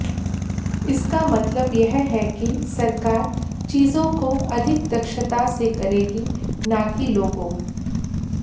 इसका मतलब यह है कि सरकार चीजों को अधिक दक्षता से करेगी न कि लोगों